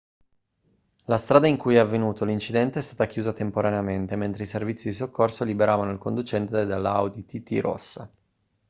la strada in cui è avvenuto l'incidente è stata chiusa temporaneamente mentre i servizi di soccorso liberavano il conducente dalla audi tt rossa